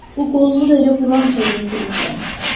Bu qolumu da elə burançoda itirmişəm.